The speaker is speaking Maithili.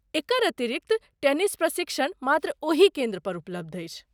एकर अतिरिक्त, टेनिस प्रशिक्षण मात्र ओही केन्द्रपर उपलब्ध अछि।